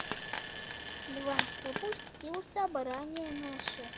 льва пропустил собрание наше